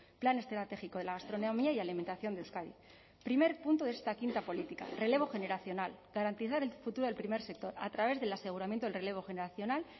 plan estratégico de la gastronomía y alimentación de euskadi primer punto de esta quinta política relevo generacional garantizar el futuro del primer sector a través del aseguramiento del relevo generacional